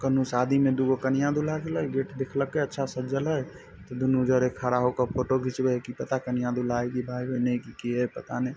कूनू शादी में दू गो कन्या दूल्हा दुल्हन गेट देखल के अच्छा सजल हय दुनु जने खड़ा होके फोटो घीचबे कि पता कन्या दूल्हा है के भाई बहिन है की की है पता नही।